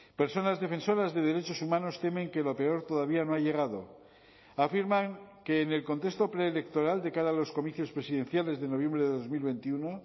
personas defensoras de derechos humanos temen que lo peor todavía no ha llegado afirman que en el contexto preelectoral de cara a los comicios presidenciales de noviembre de dos mil veintiuno